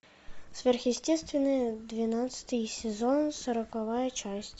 сверхъестественное двенадцатый сезон сороковая часть